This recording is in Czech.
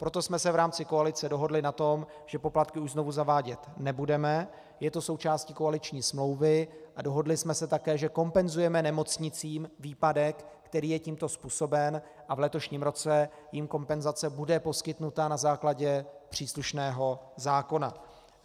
Proto jsme se v rámci koalice dohodli na tom, že poplatky už znovu zavádět nebudeme, je to součástí koaliční smlouvy, a dohodli jsme se také, že kompenzujeme nemocnicím výpadek, který je tímto způsoben, a v letošním roce jim kompenzace bude poskytnuta na základě příslušného zákona.